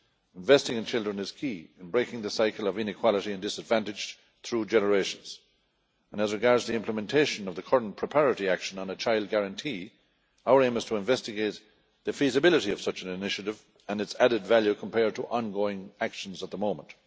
Investing in children is key to breaking the cycle of inequality and disadvantage through generations. As regards the implementation of the current preparatory action on a child guarantee, our aim is to investigate the feasibility of such an initiative and its added value compared to ongoing actions at the moment.